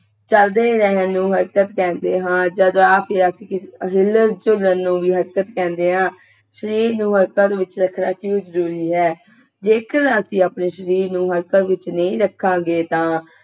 ਚਲਦੇ ਰਹਿਣ ਨੂੰ ਹਲਚਲ ਕਹਿਣੇ ਹਾਂ ਜਦੋਂ ਆਪ ਹਿਲਣ ਚੁਲਨ ਨੂੰ ਵੀ ਹਲਚਲ ਕਹਿੰਦੇ ਹਾਂ ਸ਼ਰੀਰ ਨੂੰ ਹਰਕਤਾਂ ਦੇ ਵਿਚ ਰੱਖਣਾ ਕਿਓਂ ਜਰੂਰੀ ਹੈ ਜੇਕਰ ਅਸੀਂ ਆਪਣੇ ਸ਼ਰੀਰ ਨੂੰ ਹਲਚਲ ਵਿੱਚ ਨਹੀਂ ਰਖਾਂਗੇ ਤਾਂ